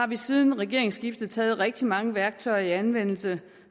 vi siden regeringsskiftet taget rigtig mange værktøjer i anvendelse